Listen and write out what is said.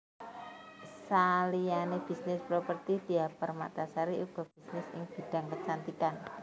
Saliyane bisnis properti Diah Permatasari uga bisnis ing bidhang kecantikan